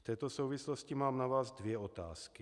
V této souvislosti mám na vás dvě otázky.